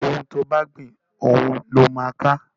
òún tí o bá gbin òun ló má ká